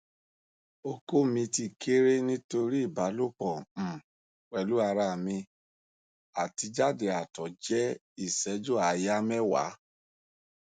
oko mi ti kere nitori ibalopo um pelu ara mi ati ijade ato je iseju aya mewa